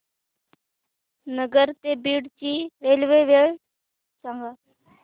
नगर ते बीड ची रेल्वे वेळ सांगा